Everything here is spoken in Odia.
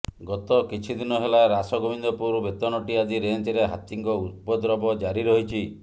ଗତ କିଛି ଦିନ ହେଲା ରାସଗୋବିନ୍ଦପୁର ବେତନଟି ଆଦି ରେଞ୍ଜରେ ହାତୀଙ୍କ ଉପଦ୍ରବ ଜାରି ରହିଛି